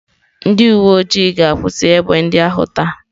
Ndị uwe ojii ga-akwụsị egbe ndị ahụ taa.